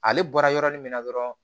Ale bɔra yɔrɔnin min na dɔrɔn